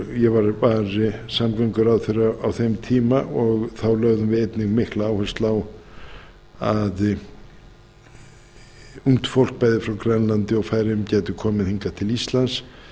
ég var samgönguráðherra á þeim tíma og þá lögðum við einnig mikla áherslu á að ungt fólk bæði frá grænlandi og færeyjum gæti komið hingað til íslands